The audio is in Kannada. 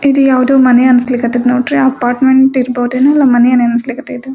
ಇದು ಯಾವ್ದೋ ಮನಿ ಅಂತ ಅನ್ನಿಸ್ಲಿಕ್ ಹತ್ತಾಯಿತಿ ನೋಡ್ರಿ ಅಪಾರ್ಟ್ಮೆಂಟ್ ಇರಬಹುದೇನೋ ಮನಿ ಅನ್ನಿಸ್ಲಿಕ್ ಹತ್ತೈತಿ .